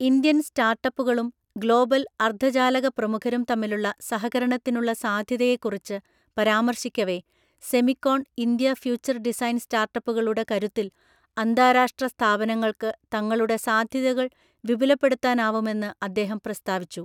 Indian സ്റ്റാർട്ടപ്പുകളും global അർദ്ധചാലക പ്രമുഖരും തമ്മിലുള്ള സഹകരണത്തിനുള്ള സാധ്യതയെക്കുറിച്ച് പരാമർശിക്കവെ സെമിക്കോൺ ഇന്ത്യ ഫ്യൂച്ചർ ഡിസൈൻ സ്റ്റാർട്ടപ്പുകളുടെ കരുത്തിൽ അന്താരാഷ്ട്ര സ്ഥാപനങ്ങൾക്കു തങ്ങളുടെ സാധ്യതകൾ വിപുലപ്പെടുത്താനാവുമെന്നു അദ്ദേഹം പ്രസ്താവിച്ചു.